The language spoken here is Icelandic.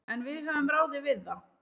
En við höfum ráðið við það.